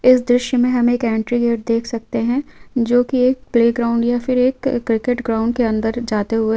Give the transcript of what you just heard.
इस दृश्य मे हम एक ऍनटरी गेट देख सकते है जो की एक प्ले ग्राउन्ड या फिर एक अ क्रिकेट ग्राउन्ड के अंदर जाते हुए--